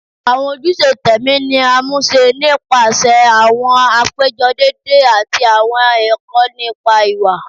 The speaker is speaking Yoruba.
Awọn ojuse tẹmi ni a muṣẹ nipasẹ awọn apejọ deede ati awọn ẹkọ nipa iwa